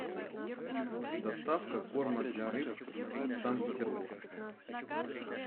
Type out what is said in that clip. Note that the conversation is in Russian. доставка корма для рыб санкт петербург